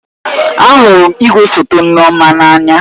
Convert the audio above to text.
Ahụrụ m igwefoto Nneoma n'anya